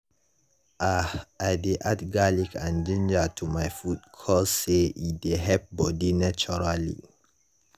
ah i dey add garlic and ginger to my food cause say e dey help bodi naturally.